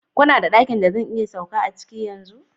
Kuna da dakin da zan iya sauka a ciki yanzu?